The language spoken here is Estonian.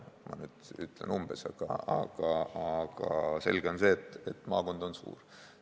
Ma ütlesin umbes, aga selge on see, et maakond on suur.